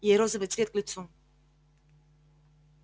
ей розовый цвет к лицу